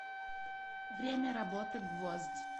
время работы гвоздь